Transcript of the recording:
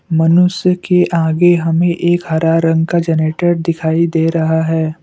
मनुष्य के आगे हमें एक हरा रंग का जनरेटर दिखाई दे रहा है।